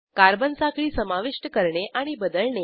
carbon साखळी समाविष्ट करणे आणि बदलणे